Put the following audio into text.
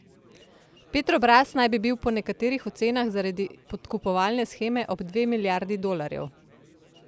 Petrobras naj bi bil po nekaterih ocenah zaradi podkupovalne sheme ob dve milijardi dolarjev.